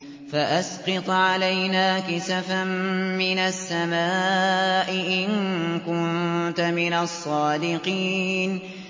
فَأَسْقِطْ عَلَيْنَا كِسَفًا مِّنَ السَّمَاءِ إِن كُنتَ مِنَ الصَّادِقِينَ